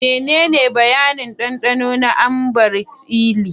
Menene bayanin dandano na Ambar Eli?